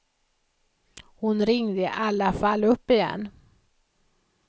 Hon ringde i alla fall upp igen.